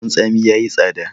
leman tsami ya yi tsada